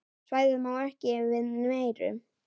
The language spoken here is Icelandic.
Svæðið má ekki við meiru.